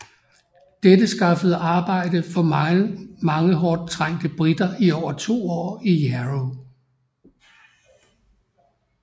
Dette skaffede arbejde for mange hårdt trængte briter i over 2 år i Jarrow